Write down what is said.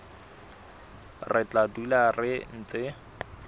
re tla dula re ntse